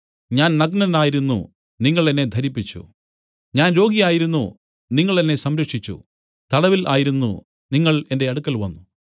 ഞാൻ നഗ്നനായിരുന്നു നിങ്ങൾ എന്നെ ധരിപ്പിച്ചു ഞാൻ രോഗിയായിരുന്നു നിങ്ങൾ എന്നെ സംരക്ഷിച്ചു തടവിൽ ആയിരുന്നു നിങ്ങൾ എന്റെ അടുക്കൽ വന്നു